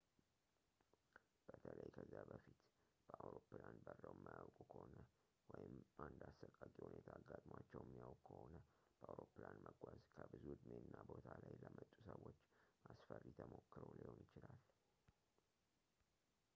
በተለይ ከዚያ በፊት በአውሮፕላን በረው የማያውቁ ከሆነ ወይም አንድ አሰቃቂ ሁኔታ አጋጥሟቸው የሚያውቅ ከሆነ በአውሮፕላን መጓዝ ከብዙ እድሜ እና ቦታ ላይ ለመጡ ሰዎች አስፈሪ ተሞክሮ ሊሆን ይችላል